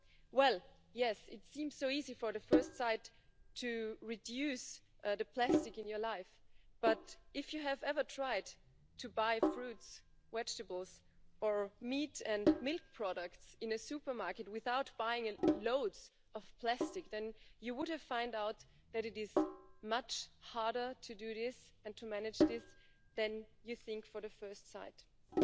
Well, yes, it seems so easy at first sight to reduce the plastic in your life, but if you have ever tried to buy fruit, vegetables or meat and milk products in a supermarket without buying loads of plastic, you would have found out that it is much harder to do this and to manage this than you at first think.